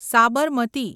Sabarmati